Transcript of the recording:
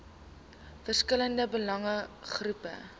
verskillende belange groepe